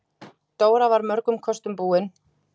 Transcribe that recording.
Dóra var mörgum kostum búin.